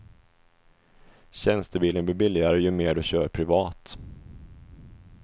Tjänstebilen blir billigare ju mer du kör privat.